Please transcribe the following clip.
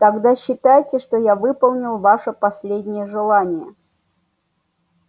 тогда считайте что я выполнил ваше последнее желание